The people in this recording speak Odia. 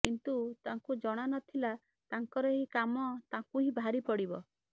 କିନ୍ତୁ ତାଙ୍କୁ ଜଣା ନ ଥିଲା ତାଙ୍କର ଏହି କାମ ତାଙ୍କୁ ହିଁ ଭାରୀ ପଡ଼ିବ